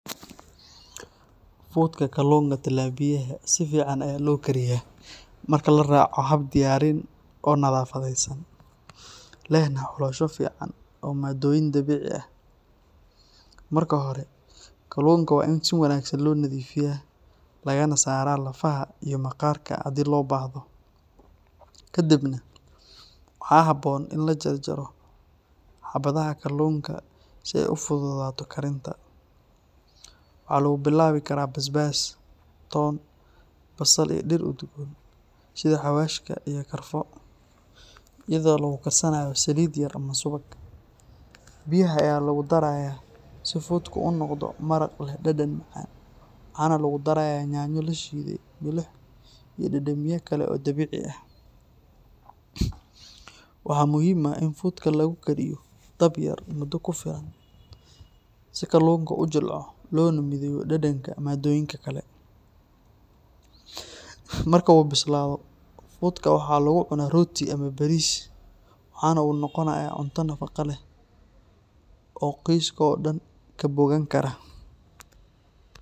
Fudka kalluunka Talapiyaha si fiican ayaa loo kariyaa marka la raaco hab diyaarin oo nadaafadeysan, lehna xulasho fiican oo maaddooyin dabiici ah. Marka hore, kalluunka waa in si wanaagsan loo nadiifiyaa lagana saaraa lafaha iyo maqaarka haddii loo baahdo. Kadibna, waxaa habboon in la jarjaro xabadaha kalluunka si ay u fududaato karinta. Waxaa lagu bilaabi karaa basbaas, toon, basal iyo dhir udgoon sida xawaashka iyo karfo, iyadoo lagu karsanayo saliid yar ama subag. Biyaha ayaa lagu darayaa si fudku u noqdo maraq leh dhadhan macaan, waxaana lagu darayaa yaanyo la shiiday, milix iyo dhadhamiye kale oo dabiici ah. Waxaa muhiim ah in fudka lagu kariyo dab yar muddo ku filan si kalluunka u jilco loona mideeyo dhadhanka maaddooyinka kale. Marka uu bislaado, fudka waxa lagu cunaa rooti ama bariis, waxaana uu noqonayaa cunto nafaqo leh oo qoyska oo dhan ka bogan kara.